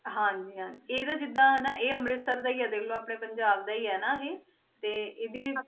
ਹਾਂਜੀ ਹਾਂਜੀ ਇਹਦੇ ਜਿੱਦਾਂ ਹਨਾ ਇਹ ਅੰਮ੍ਰਿਤਸਰ ਦਾ ਹੀ ਹੈ ਦੇਖ ਲਓ ਆਪਣੇ ਪੰਜਾਬ ਦਾ ਹੀ ਹੈ ਨਾ ਇਹ ਤੇ ਇਹਦੀ